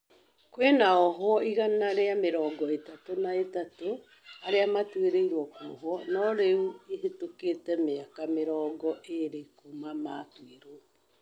kwĩna ohwo ĩgana rĩa mĩrongo ĩtatũ na ĩtatũ, arĩa matũĩrĩrwo gũĩtwo no rĩũ ĩhĩtũkĩte mĩaka mĩrongo ĩrĩ kũma matũĩrwo